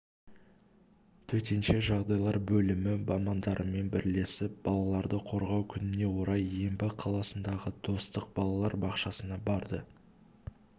төтенше жағдайлар бөлімі мамандарымен бірлесіп балаларды қорғау күніне орай ембі қаласындағы достық балалар бақшасына барды